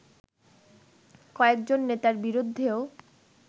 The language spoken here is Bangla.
কয়েকজন নেতার বিরুদ্ধেও